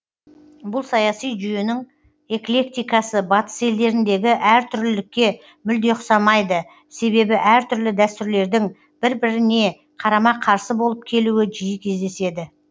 бұл саяси жүйенің эклектикасы батыс елдеріндегі әртүрлілікке мүлде ұқсамайды себебі әртүрлі дәстүрлердің бір біріне қарама қарсы болып келуі жиі кездеседі